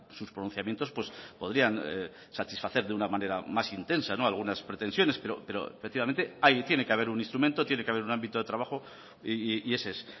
sus pronunciamientos podrían satisfacer de una manera más intensa algunas pretensiones pero efectivamente tiene que haber un instrumento tiene que haber un ámbito de trabajo y ese es